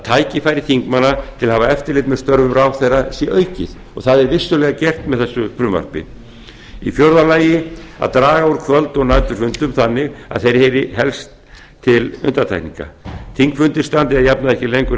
tækifæri þingmanna til að hafa eftirlit með störfum ráðherranna sé aukið og það er vissulega gert með þessu frumvarpi þriðja að draga úr kvöld og næturfundum þannig að þeir heyri helst til undantekninga þingfundir standi að jafnaði ekki lengur